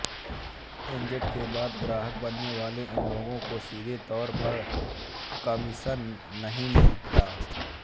agent के बाद ग्राहक बनने वाले इन लोगों को सीधे तौर पर कमिशन नहीं मिलता